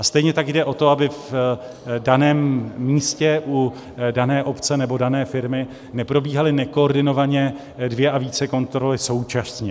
A stejně tak jde o to, aby v daném místě u dané obce nebo dané firmy neprobíhaly nekoordinovaně dvě a více kontrol současně.